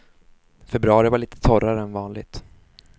Februari var lite torrare än vanligt.